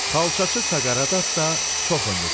Xalçaçı Saqarat da çox ömür sürdü.